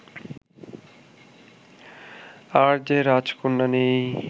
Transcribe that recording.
আর যে রাজকন্যা নেই